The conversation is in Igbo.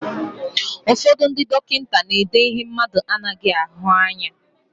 Ụfọdụ ndị dọkịta na-èdé ihe mmadụ anaghị ahụ anya.